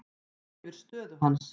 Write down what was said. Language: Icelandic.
Hæfir stöðu hans.